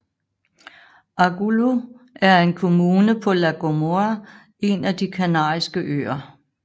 Agulo er en kommune på La Gomera en af de Kanariske Øer